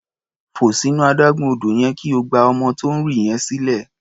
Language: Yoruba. Fò sínú adágún odò yẹn kí o gba ọmọ tó ń rì yẹn sílẹ̀.